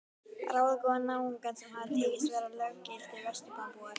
Ráðagóða náunga sem hafði tekist að verða löggiltir Vesturlandabúar.